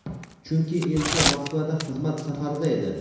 chunki elchi Moskvada xizmat safarida edi.